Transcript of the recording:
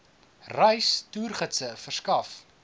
reis toergidse verskaf